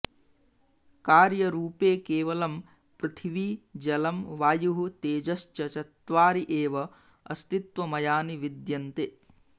कार्यरुपे केवलं पृथिवी जलं वायुः तेजश्च चत्वारि एव अस्तित्वमयानि विद्यन्ते